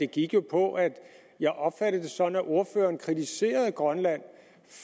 gik jo på at jeg opfattede det sådan at ordføreren kritiserede grønland